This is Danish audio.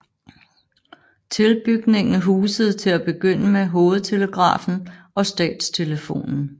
Tilbygningen husede til at begynde med Hovedtelegrafen og Statstelefonen